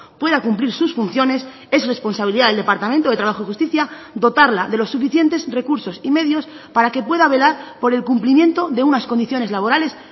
pueda cumplir sus funciones es responsabilidad del departamento de trabajo y justicia dotarla de los suficientes recursos y medios para que pueda velar por el cumplimiento de unas condiciones laborales